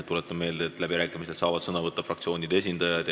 Tuletan meelde, et läbirääkimistel saavad sõna võtta fraktsioonide esindajad.